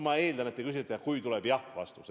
Ma arvan, et te küsisite eeldades, et tuleb jah-vastus.